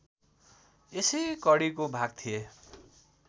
यसै कडीको भाग थिए